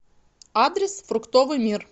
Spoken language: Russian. адрес фруктовый мир